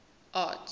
art